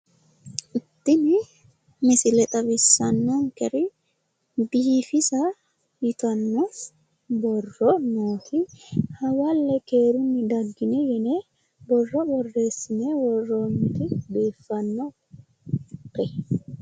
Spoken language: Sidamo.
Tini misile xawissanninkeri biifisa yitanno borro noose hawalle keerunni daggini yine borro birreessine worroonnite biiffannite.